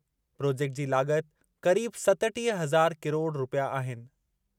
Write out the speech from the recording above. Project जी लाग॒ति क़रीब सतटीह हज़ार किरोड़ रूपया आहिनि।